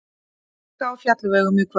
Hálka á fjallvegum í kvöld